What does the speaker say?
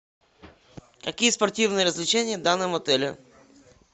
какие спортивные развлечения в данном отеле